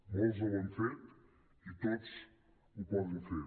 molts ho han fet i tots ho poden fer